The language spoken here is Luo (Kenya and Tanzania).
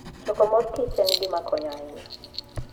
Choko mor kich en gima konyo ahinya.